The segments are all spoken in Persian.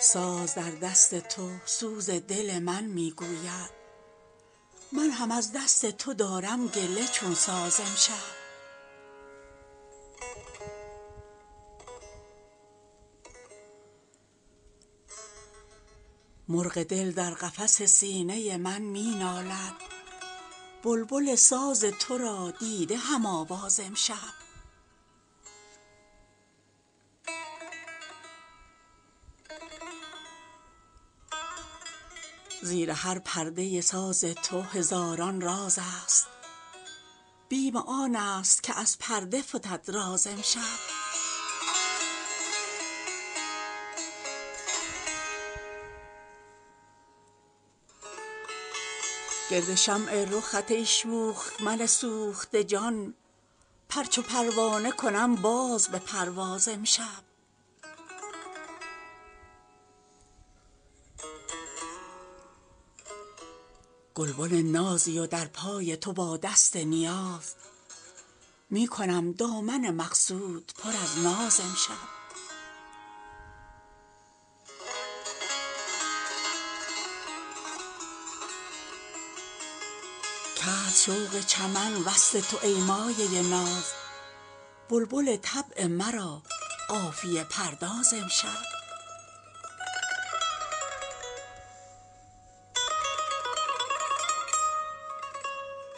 ساز در دست تو سوز دل من می گوید من هم از دست تو دارم گله چون ساز امشب مرغ دل در قفس سینه من می نالد بلبل ساز ترا دیده هم آواز امشب زیر هر پرده ساز تو هزاران راز است بیم آنست که از پرده فتد راز امشب گرد شمع رخت ای شوخ من سوخته جان پر چو پروانه کنم باز به پرواز امشب گلبن نازی و در پای تو با دست نیاز می کنم دامن مقصود پر از ناز امشب کرد شوق چمن وصل تو ای مایه ناز بلبل طبع مرا قافیه پرداز امشب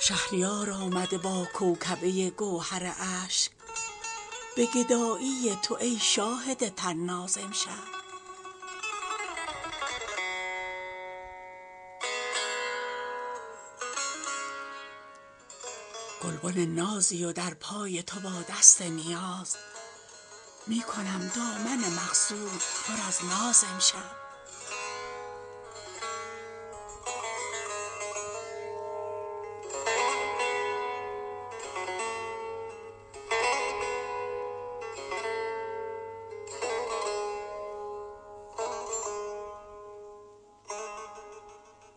شهریار آمده با کوکبه گوهر اشک به گدایی تو ای شاهد طناز امشب